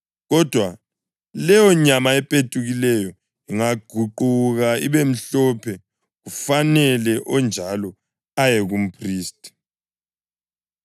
Kodwa leyonyama epetukileyo ingaguquka ibemhlophe kufanele onjalo aye kumphristi.